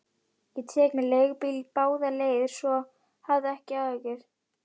Ég tek mér leigubíl báðar leiðir, svo hafðu ekki áhyggjur.